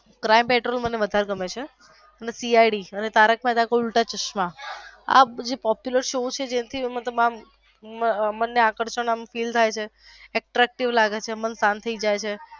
crime petrol મને વધારે ગમે છે અને સી આઈ ડી અને તારક મેહતા કા ઉલ્ટા ચશ્માં આ બધું જે popular shows છે જેમ કે એમાં તમે મન ને શાંત થઈ જઈ છે.